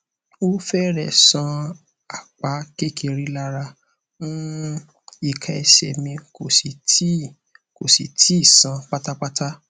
o fẹrẹẹ sàn apá kékeré lára um ika ese mi kò sì tíì kò sì tíì sàn pátápátá